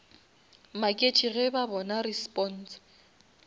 maketše ge ba bona response